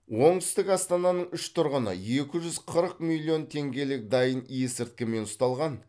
оңтүстік астананың үш тұрғыны екі жүз қырық миллион теңгелік дайын есірткімен ұсталған